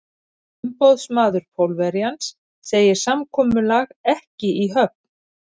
Umboðsmaður Pólverjans segir samkomulag ekki í höfn.